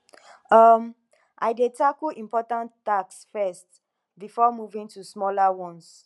um i dey tackle important tasks first before moving to smaller ones